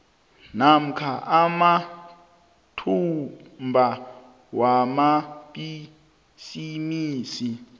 namkha amathuba wamabhisimisi